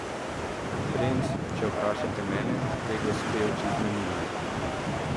Bremz, če vprašate mene, te gospe očitno nimajo.